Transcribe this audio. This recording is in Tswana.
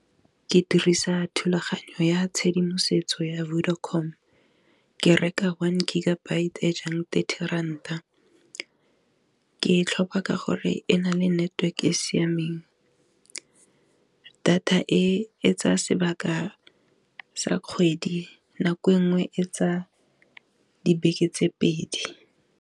Ke dirisa thulaganyo ya tshedimosetso ya Vodacom-o, ke reka one gigabyte e jang thirty rand-a ke tlhopha ka gore e na le network-e e siameng, data etsa sebaka sa kgwedi nako e nngwe etsa dibeke tse pedi.